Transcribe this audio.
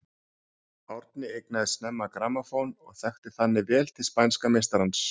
Árni eignaðist snemma grammófón og þekkti þannig vel til spænska meistarans.